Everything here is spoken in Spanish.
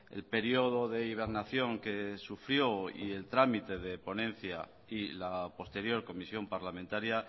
el periodo de hibernación que sufrió y el trámite de ponencia y la posterior comisión parlamentaria